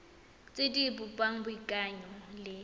tse di bopang boikanyo le